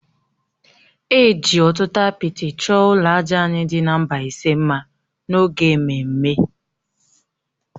E ji ọtụtụ apịtị chọọ ụlọ àjà anyị dị na Mbaise mma n’oge ememme